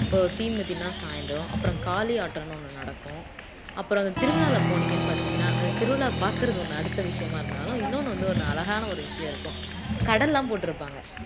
இப்போ தீ மிதின்னா சாய்ந்தரம் அப்புறம் காளி ஆட்டம்ன்னு ஒண்ணு நடக்கும் அப்புறம் அந்த திருவிழாவுல போனீங்கன்னு பார்த்தீங்கன்னா அந்த திருவிழா பார்க்கிறது ஒண்ணு அடுத்த விஷயமா இருந்தாலும் இன்னொன்னு வந்து ஒரு அழகான ஒரு விஷயம் இருக்கும் கட எல்லாம் போட்டு இருப்பாங்க